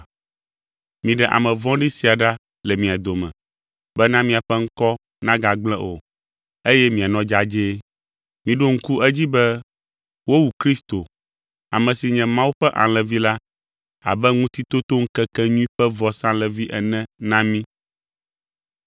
Miɖe ame vɔ̃ɖi sia ɖa le mia dome, bena miaƒe ŋkɔ nagagblẽ o, eye mianɔ dzadzɛe. Miɖo ŋku edzi be wowu Kristo, ame si nye Mawu ƒe Alẽvi la, abe ŋutitotoŋkekenyui ƒe vɔsalẽvi ene na mí.